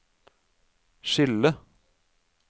skille